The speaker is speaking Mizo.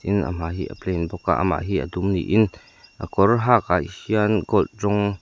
a hmai hi a plain bawk a amah hi a dum niin a kawr hak ah hian gold rawng--